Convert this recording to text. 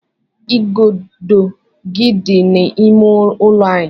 Igodo gi dị n'ime ụlọ anyị.